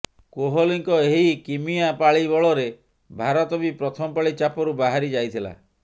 କୋହଲିଙ୍କ ଏହି କିମିଆ ପାଳି ବଳରେ ଭାରତ ବି ପ୍ରଥମ ପାଳି ଚାପରୁ ବାହାରିଯାଇଥିଲା